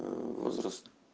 возраст